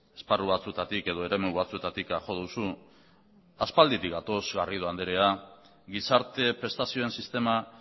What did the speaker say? esparru batzuetatik edo eremu batzuetatik jo duzu aspalditik gatoz garrido anderea gizarte prestazioen sistema